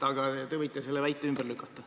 Aga te võite selle väite ümber lükata.